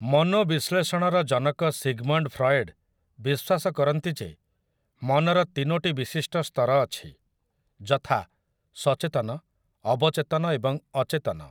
ମନୋବିଶ୍ଳେଷଣର ଜନକ Sigmund Freud ବିଶ୍ୱାସ କରନ୍ତି ଯେ ମନର ତିନୋଟି ବିଶିଷ୍ଟ ସ୍ତର ଅଛି, ଯଥା, ସଚେତନ, ଅବଚେତନ ଏବଂ ଅଚେତନ ।